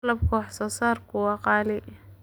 Qalabka wax soo saarku waa qaali.